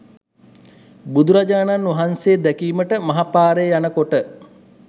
බුදුරජාණන් වහන්සේ දැකීමට මහ පාරේ යන කොට